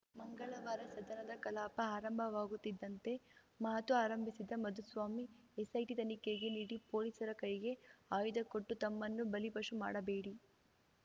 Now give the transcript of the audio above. ಮಂಗಳವಾರ ಸದನದ ಕಲಾಪ ಆರಂಭವಾಗುತ್ತಿದ್ದಂತೆ ಮಾತು ಆರಂಭಿಸಿದ ಮಧುಸ್ವಾಮಿ ಎಸ್‌ಐಟಿ ತನಿಖೆಗೆ ನೀಡಿ ಪೊಲೀಸರ ಕೈಗೆ ಆಯುಧ ಕೊಟ್ಟು ತಮ್ಮನ್ನು ಬಲಿಪಶು ಮಾಡಬೇಡಿ